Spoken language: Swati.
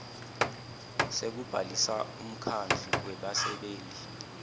sekubhalisa umkhandlu webasebenti